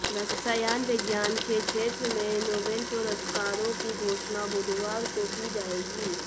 रसायन विज्ञान के क्षेत्र में नोबेल पुरस्कारों की घोषणा बुधवार को की जाएगी